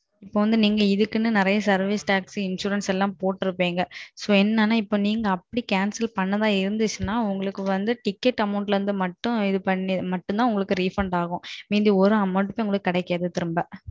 இப்போ வந்து நீங்க இதுக்குன்னு நெறைய Service Tax, Insurance போற்றுப்பிங்க. So என்னனா நீங்க அப்டி Cancel பண்றதா இருந்தால் உங்களுக்கு Ticket Amount மட்டும் Refund மீதி ஒரு Amount உங்களுக்கு கிடைக்காது திரும்ப